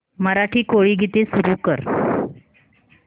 मराठी कोळी गीते सुरू कर